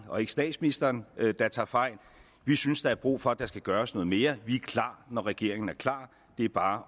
og ikke statsministeren der tager fejl vi synes der er brug for at der gøres noget mere vi er klar når regeringen er klar det er bare